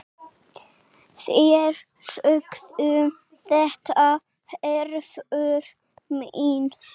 Þeir sögðu þetta, Hervör mín.